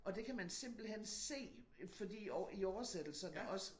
Og det kan man simpelthen se fordi i i oversættelserne også